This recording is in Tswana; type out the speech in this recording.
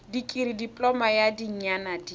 dikirii dipoloma ya dinyaga di